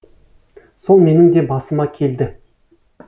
сол менің де басыма келді